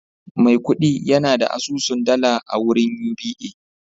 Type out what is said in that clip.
Maikudi yana da asusun dala a wurin Uba